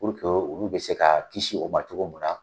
Puruke olu bɛ se ka kisi o ma cogo mun na.